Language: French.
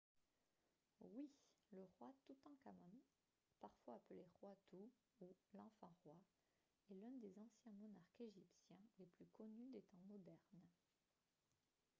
oui ! le roi toutankhamon parfois appelé « roi tout » ou « l’enfant roi » est l’un des anciens monarques égyptiens les plus connus des temps modernes